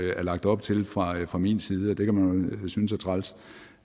der er lagt op til fra fra min side det kan man jo synes er træls